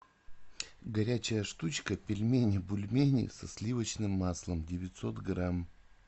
горячая штучка пельмени бульмени со сливочным маслом девятьсот грамм